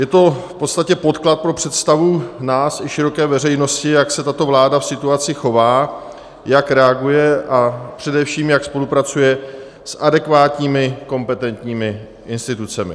Je to v podstatě podklad pro představu nás i široké veřejnosti, jak se tato vláda v situaci chová, jak reaguje a především jak spolupracuje s adekvátními kompetentními institucemi.